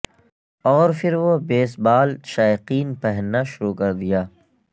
اور پھر وہ بیس بال شائقین پہننا شروع کر دیا